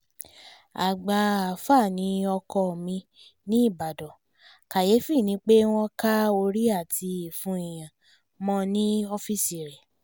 àgbà alfa ni ọkọ ò mí nìbàdàn kàyéfì ni pé wọ́n ka orí àti ìfun èèyàn mọ́ ọ́ọ́fíìsì rẹ̀